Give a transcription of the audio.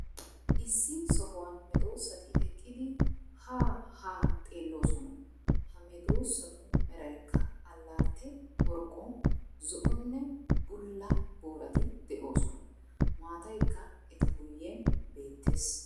Issi sohuwan medoosati eqqidi ha haa xeelloosona, ha medoosatu meraykka alaatte boroqqo, zo"onne bulla boorati de'oosona. Maataykka eta guyen beettees.